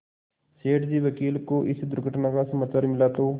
सेठ जी वकील को इस दुर्घटना का समाचार मिला तो